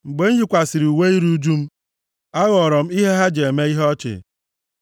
Mgbe m yikwasịrị uwe iru ụjụ m, a ghọrọ m ihe ha ji eme ihe ọchị.